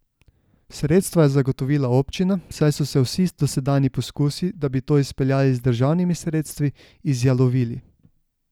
Sredstva je zagotovila občina, saj so se vsi dosedanji poskusi, da bi to izpeljali z državnimi sredstvi, izjalovili.